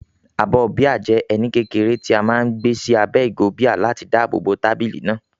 Abọ́ bíà jẹ́ ẹní kékeré tí a máa ń gbé sí abẹ́ ìgò bíà láti dáàbò bo tábìlì náà.